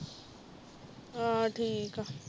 ਆਹ ਠੀਕ ਆ